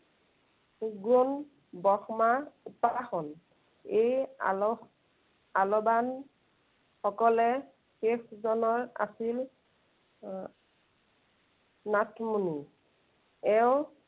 নিগুণ, ব্ৰহ্মা উপাসন। এই আলস, আলৱান সকলে শেষ জনা আছিল আহ নাথমুনি।